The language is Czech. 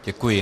Děkuji.